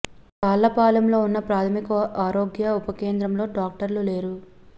తాళ్ళపాలెంలో ఉన్న ఒక ప్రాథమిక ఆరోగ్య ఉప కేంద్రంలో డాక్టర్లు లేరు